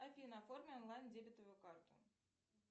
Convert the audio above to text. афина оформи онлайн дебетовую карту